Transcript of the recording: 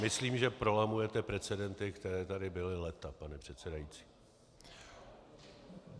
Myslím, že prolamujete precedenty, které tady byly léta, pane předsedající.